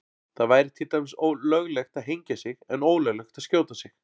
Það væri til dæmis löglegt að hengja sig en ólöglegt að skjóta sig.